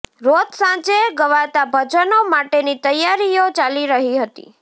રોજ સાંજે ગવાતાં ભજનો માટેની તૈયારીઓ ચાલી રહી હતી